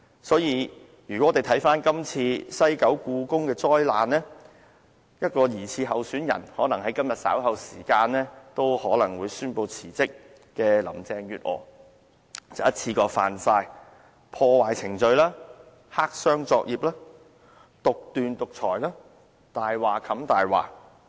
所以，如果我們看看今次西九故宮博物館的災難，一名疑似候選人——可能在今天稍後時間宣布辭職的林鄭月娥——已一次過觸犯破壞程序、黑箱作業、獨斷、獨裁、"以大話冚大話"的惡行。